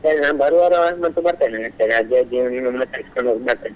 ಸರಿ ನಾನ್ ಬರುವಾರ ಬರ್ತೇನೆ ಅಜ್ಜಾ ಅಜ್ಜಿಯನ್ನು ಬರ್ತೇನೆ.